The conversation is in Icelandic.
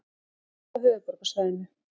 Hált á höfuðborgarsvæðinu